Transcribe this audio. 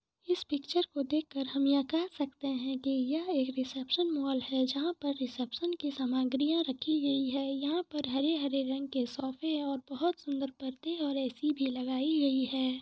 इस पिक्चर को देख कर हम यह कह सकते हैं की यह एक रिसेप्शन मॉल है जहां पर रिसेप्शन सामग्रियां रखी गई हैंयहाँ पर हरे रंग-रंग के सोफे और बहुत सुन्दर पर्दे और ऐ.सी. भी लगाई गई है।